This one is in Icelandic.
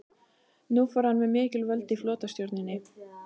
Nú fór hann með mikil völd í flotastjórninni.